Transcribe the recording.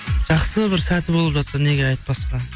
жақсы бір сәті болып жатса неге айтпасқа